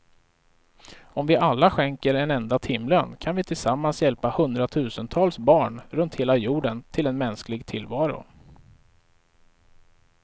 Om vi alla skänker en enda timlön kan vi tillsammans hjälpa hundratusentals barn runt hela jorden till en mänsklig tillvaro.